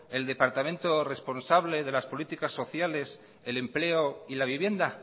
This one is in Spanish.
el departamento responsable de las políticas sociales el empleo y la vivienda